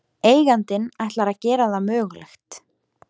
Eigandinn ætlar að gera það mögulegt